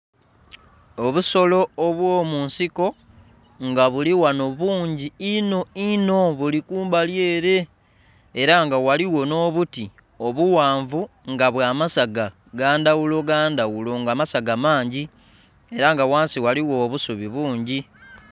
Obusolo obwo mu nsiko nga bili ghano bungi inho ihno bili kumbali ere era nga ghaligho nho buti omughanvu nga bwa masaga gandhaghulo gandhaghulo nga amasaga mangi era nga ghansi ghaligho obusubi bungi.